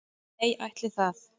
Nei ætli það.